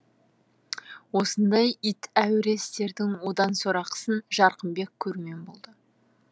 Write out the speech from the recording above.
осындай ит әуіре істердің одан сорақысын жарқынбек көрумен болды